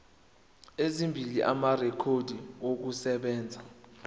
ezimbili amarekhodi okusebenza